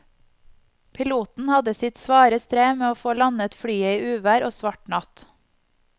Piloten hadde sitt svare strev med å få landet flyet i uvær og svart natt.